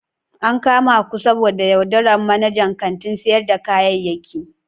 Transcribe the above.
An kama ku saboda yaudarar manajan kantin sayar da kayayyaki.